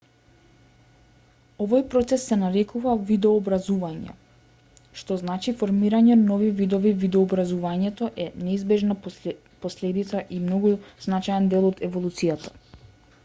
овој процес се нарекува видообразување што значи формирање нови видови видообразувањето е неизбежна последица и многу значаен дел од еволуцијата